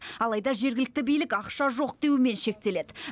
алайда жергілікті билік ақша жоқ деумен шектеледі